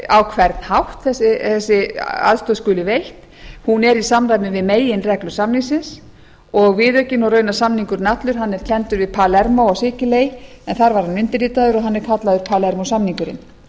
á hvern hátt þessi aðstoð skuli veitt hún er í samræmi við meginreglur samningsins og viðaukinn og raunar samningurinn allur er kenndur við palermó á sikiley en þar var hann undirritaður og hann er kallaður palermó